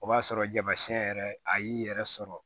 O b'a sɔrɔ tamasiyɛn yɛrɛ a y'i yɛrɛ sɔrɔ